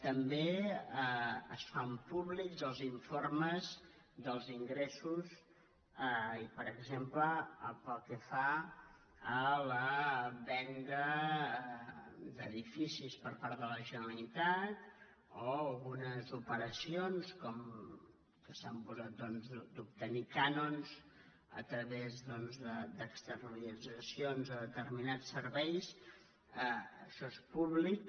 també es fan públics els informes dels ingressos i per exemple pel que fa a la venda d’edifi·cis per part de la generalitat o algunes operacions que s’han posat d’obtenir cànons a través d’externalitza·cions de determinats serveis això és públic